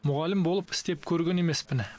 мұғалім болып істеп көрген емеспін